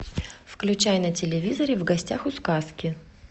включай на телевизоре в гостях у сказки